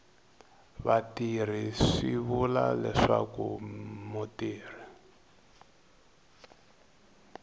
vatirhi swi vula leswaku mutirhi